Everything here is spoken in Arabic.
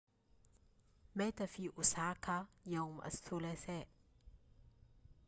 مات في أوساكا يوم الثلاثاء